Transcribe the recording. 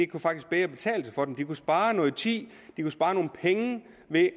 kunne faktisk bedre betale sig for dem de kunne spare noget tid